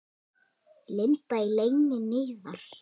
Lind í leyni niðar.